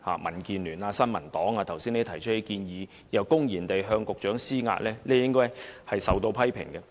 民建聯和新民黨議員剛才提出這類建議，又公然向局長施壓，理應受到批評。